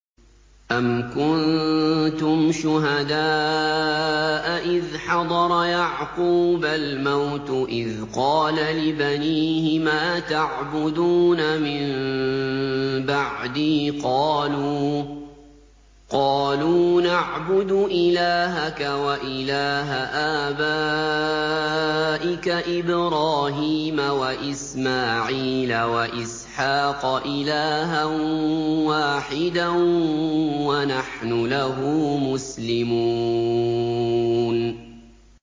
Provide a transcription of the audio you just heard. أَمْ كُنتُمْ شُهَدَاءَ إِذْ حَضَرَ يَعْقُوبَ الْمَوْتُ إِذْ قَالَ لِبَنِيهِ مَا تَعْبُدُونَ مِن بَعْدِي قَالُوا نَعْبُدُ إِلَٰهَكَ وَإِلَٰهَ آبَائِكَ إِبْرَاهِيمَ وَإِسْمَاعِيلَ وَإِسْحَاقَ إِلَٰهًا وَاحِدًا وَنَحْنُ لَهُ مُسْلِمُونَ